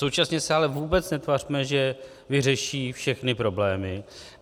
Současně se ale vůbec netvařme, že vyřeší všechny problémy.